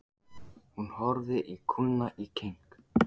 Hún horfði á kúna í keng.